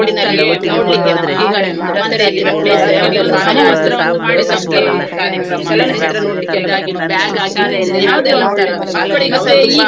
ಹೀಗೆ ನಮ್ದು ಅಂದ್ರೆ ಹಾ ಹತ್ತಿರ ಹತ್ತಿರ place ಯಾವ್ದೆಲ್ಲಾ ಉಂಟು ಮತ್ತೆ ನಮ್ಗೆ ಚಲನಚಿತ್ರ ನೋಡ್ಲಿಕ್ಕೆ ಎಲ್ಲಾ ಕರ್ಕೊಂಡ್ ಹೋಗ್ತಿದ್ರು ಸು~ school ಆ ಶಾಲಾ ದಿನದಲ್ಲಿ.